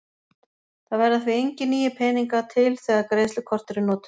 það verða því engir nýir peningar til þegar greiðslukort eru notuð